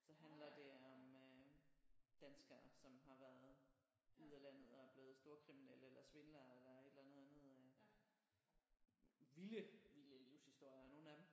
Så handler det om øh danskere som har været ude af landet og er blevet storkriminelle eller svindlere eller et eller andet vilde vilde livshistorier nogle af dem